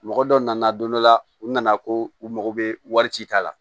Mɔgɔ dɔ nana don dɔ la u nana ko u mago bɛ wari ci ta la